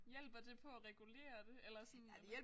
Hjælper det på at regulere det eller sådan